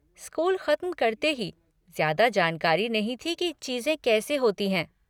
School ख़त्म करते हीं, ज़्यादा जानकारी नहीं थी कि चीज़ें कैसे होती हैं।